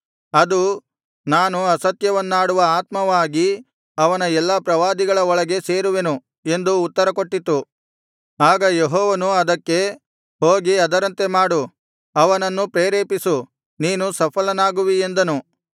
ಅದು ನಾನು ಅಸತ್ಯವನ್ನಾಡುವ ಆತ್ಮವಾಗಿ ಅವನ ಎಲ್ಲಾ ಪ್ರವಾದಿಗಳ ಒಳಗೆ ಸೇರುವೆನು ಎಂದು ಉತ್ತರಕೊಟ್ಟಿತು ಆಗ ಯೆಹೋವನು ಅದಕ್ಕೆ ಹೋಗಿ ಅದರಂತೆ ಮಾಡು ಅವನನ್ನು ಪ್ರೇರೇಪಿಸು ನೀನು ಸಫಲನಾಗುವಿ ಎಂದನು